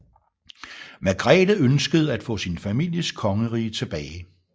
Margrete ønskede at få sin families kongerige tilbage